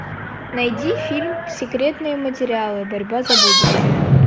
найди фильм секретные материалы борьба за будущее